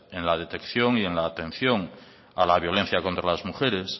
en la detección y en la atención a la violencia contra las mujeres